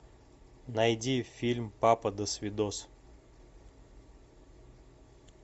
найди фильм папа досвидос